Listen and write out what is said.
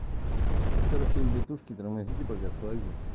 короче ребятушки тормозите благослови